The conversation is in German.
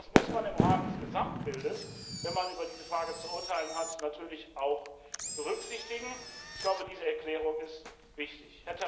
Das muss man im Rahmen des Gesamtbildes, wenn man über diese Frage zu urteilen hat, natürlich auch berücksichtigen. Ich glaube, diese Erklärung ist wichtig.